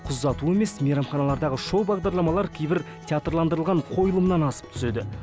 қыз ұзату емес мейрамханадағы шоу бағдарламалар кейбір театрландырылған қойылымнан асып түседі